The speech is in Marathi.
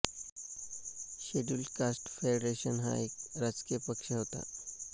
शेड्यूल्ड कास्ट फेडरेशन हा एक राजकीय पक्ष होता